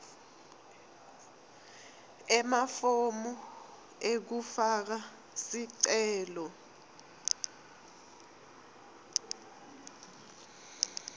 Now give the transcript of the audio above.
emafomu ekufaka sicelo